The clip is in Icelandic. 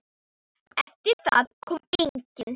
Eftir það kom enginn.